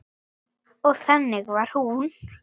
Og þannig var hún.